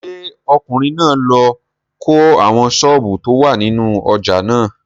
Ṣé ọkùnrin náà ló kọ́ àwọn sọ́ọ̀bù tó wà nínú ojà náà?